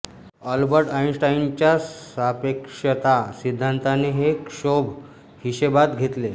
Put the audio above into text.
Albert आइनस्टाइनच्या सापेक्षता सिद्धान्ताने हे क्षोभ हिशेबात घेतले